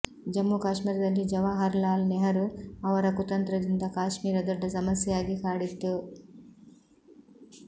ಜಮ್ಮು ಕಾಶ್ಮೀರದಲ್ಲಿ ಜವಾಹರಲಾಲ್ ನೆಹರು ಅವರ ಕುತಂತ್ರದಿಂದ ಕಾಶ್ಮೀರ ದೊಡ್ಡ ಸಮಸ್ಯೆಯಾಗಿ ಕಾಡಿತ್ತು